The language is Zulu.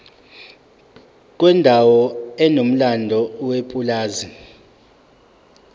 kwendawo enomlando yepulazi